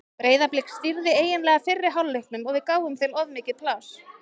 Breiðablik stýrði eiginlega fyrri hálfleiknum og við gáfum þeim of mikið pláss.